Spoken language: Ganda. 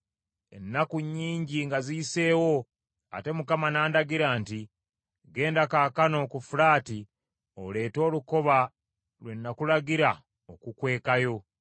Ennaku nnyingi nga ziyiseewo, ate Mukama nandagira nti, “Genda kaakano ku Fulaati oleete olukoba lwe nakulagira okukwekayo.”